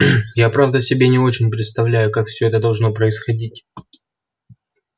я правда себе не очень представляю как всё это должно происходить